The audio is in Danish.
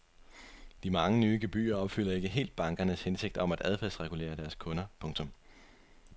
De mange nye gebyrer opfylder ikke helt bankernes hensigt om at adfærdsregulere deres kunder. punktum